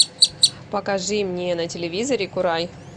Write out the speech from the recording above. покажи мне на телевизоре курай